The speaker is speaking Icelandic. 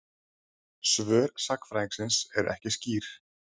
Svör sagnfræðingsins eru ekki skýr.